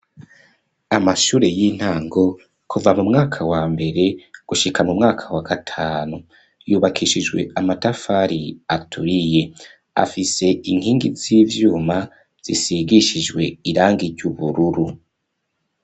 Amashure y'intango kuva mu mwaka wa mbere gushika mu mwaka wa gatanu yubakishijwe amatafari aturiye afise inkingi z'ivyuma zisigishijwe iranga iry'ubururu.